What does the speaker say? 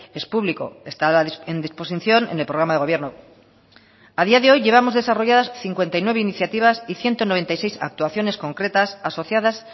es público está a disposición en el programa de gobierno a día de hoy llevamos desarrolladas cincuenta y nueve iniciativas y ciento noventa y seis actuaciones concretas asociadas